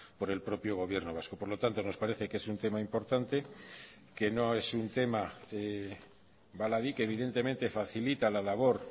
por el propio gobierno vasco por lo tanto nos parece que es un tema importante que no es un tema baladí que evidentemente facilita la labor